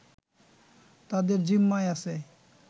তাদের জিম্মায় আছে